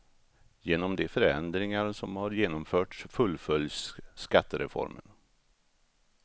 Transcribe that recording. Genom de förändringar som har genomförts fullföljs skattereformen.